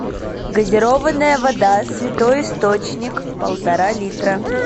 газированная вода святой источник полтора литра